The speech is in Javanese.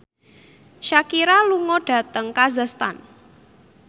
Shakira lunga dhateng kazakhstan